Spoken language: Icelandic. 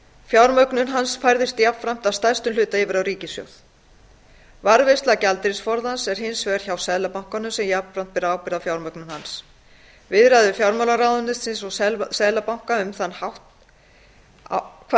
fjármögnun hans færðist jafnframt að stærstum hluta yfir á ríkissjóð varðveisla gjaldeyrisforðans er hins vegar hjá seðlabankanum sem jafnframt ber ábyrgð á fjármögnun hans viðræður fjármálaráðuneytis og seðlabanka hvað